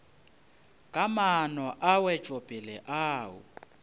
ka maano a wetšopele ao